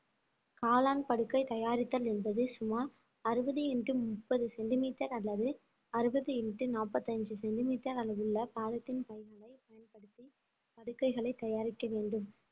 காளான் படுக்கை தயாரித்தல் என்பது சுமார் அறுபது into முப்பது சென்டிமீட்டர் அல்லது அறுபது into நாற்பத்தைந்து சென்டிமீட்டர் அளவுள்ள பாலித்தீன் பைகளை பயன்படுத்தி படுக்கைகளை தயாரிக்க வேண்டும்